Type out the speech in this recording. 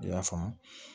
I y'a faamu